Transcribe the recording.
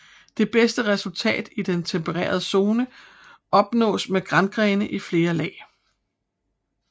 Det bedste resultat i den tempererede zoner opnås med grangrene i flere lag